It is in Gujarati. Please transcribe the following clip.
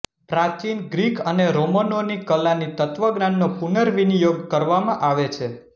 પ્રાચીન ગ્રીક અને રોમનોની કલાની તત્ત્વજ્ઞાનનો પુનવિર્નિયોગ કરવામાં આવે છે